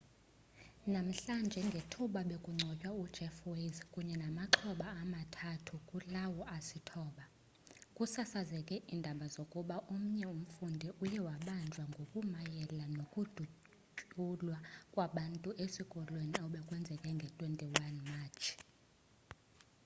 namhlanje ngethuba bekungcwatywa ujeff weise kunye namaxhoba amathathu kulawo asithoba kusasazeke iindaba zokuba omnye umfundi uye wabanjwa ngokumayela nokudutyulwa kwabantu esikolweni obekwenzeke nge-21 matshi